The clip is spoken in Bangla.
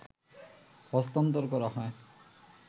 হস্তান্তর করা হয়